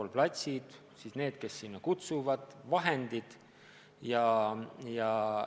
Igal pool peavad olema spordiplatsid ja nendel, kes sinna kutsuvad, peavad olema vajalikud vahendid.